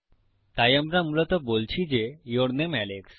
তাই আমরা মূলত বলছি যে ইউর নামে আলেক্স